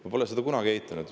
Ma pole seda kunagi eitanud.